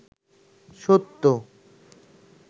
সত্য